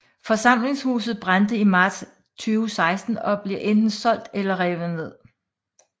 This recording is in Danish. Forsamlingshuset brændte i marts 2016 og bliver enten solgt eller revet ned